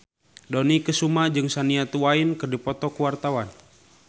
Dony Kesuma jeung Shania Twain keur dipoto ku wartawan